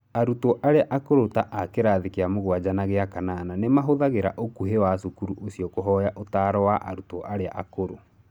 Arutwo arĩa akũrũ ta a kĩrathi kĩa mũgwanja na gĩa kanana nĩ mahũthagĩra ũkuhĩ wa cukuru ũcio kũhoya ũtaaro wa arutwo arĩa akũrũ.